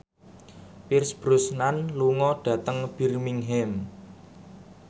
Pierce Brosnan lunga dhateng Birmingham